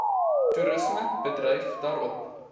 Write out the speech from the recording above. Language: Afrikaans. toerisme bedryf daarop